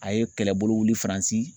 A ye kɛlɛbolo wili Faransi